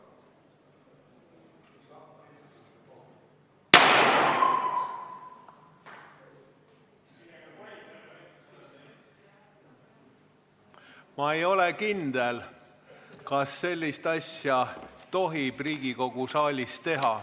Ma ei ole kindel, kas sellist asja tohib Riigikogu saalis teha.